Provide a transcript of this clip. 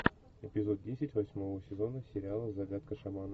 эпизод десять восьмого сезона сериала загадка шамана